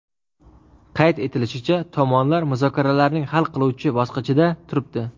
Qayd etilishicha, tomonlar muzokaralarning hal qiluvchi bosqichida turibdi.